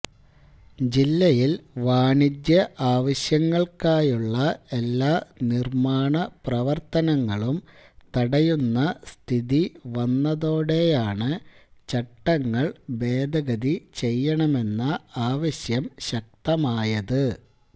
ജില്ലയിൽ വാണിജ്യ ആവശ്യങ്ങൾക്കായുള്ള എല്ലാ നിർമ്മാണ പ്രവർത്തനങ്ങളും തടയുന്ന സ്ഥിതി വന്നതോടെയാണു ചട്ടങ്ങൾ ഭേദഗതി ചെയ്യണമെന്ന ആവശ്യം ശക്തമായത്